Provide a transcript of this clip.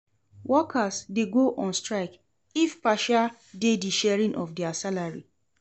Workers de go on strike if partia de di sharing of their salary